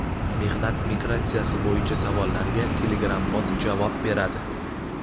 Mehnat migratsiyasi bo‘yicha savollarga Telegram-bot javob beradi.